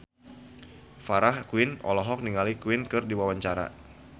Farah Quinn olohok ningali Queen keur diwawancara